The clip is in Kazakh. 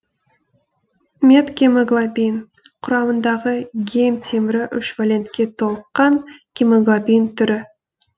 метгемоглобин құрамындағы гем темірі үш валентке толыққан гемоглобин түрі